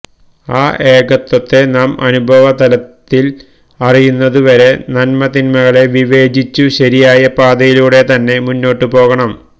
ആ ഏകത്വത്തെ നാം അനുഭവതലത്തില് അറിയുന്നതുവരെ നന്മതിന്മകളെ വിവേചിച്ചുശരിയായ പാതയിലൂടെത്തന്നെ മുന്നോട്ടുപോകണം